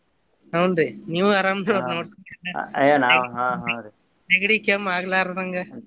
ಹುನ್ರಿ ನೀವು ಅರಾಮ್ ನೆಗಡಿ ಕೆಮ್ಮ ಆಗಲಾರ್ದಂಗ.